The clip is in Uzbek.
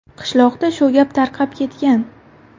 Qishloqda shu gap tarqab ketgan.